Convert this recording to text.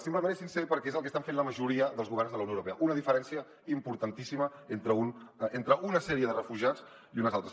simplement és sincer perquè és el que estan fent la majoria dels governs de la unió europea una diferència importantíssima entre una sèrie de refugiats i uns altres